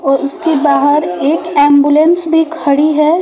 और उसके बाहर एक एम्बुलेंस भी खड़ी है।